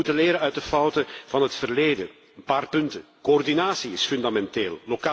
We moeten leren uit de fouten van het verleden. Ik noem een paar punten. Coördinatie is fundamenteel.